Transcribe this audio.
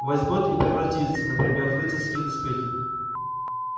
возьмёт и превратится например в рыцарские доспехи